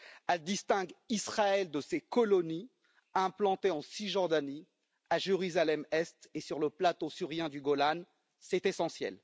Elle distingue Israël de ses colonies implantées en Cisjordanie, à Jérusalem Est et sur le plateau syrien du Golan, c'est essentiel.